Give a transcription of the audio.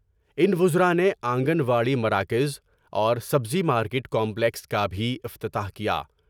ان وزراء نے آنگن واڑی مراکز اور سبزی مارکٹ کا پلیکس کا بھی افتتاح کیا ۔